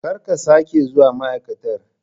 Kar ka sake zuwa ma'aikatar!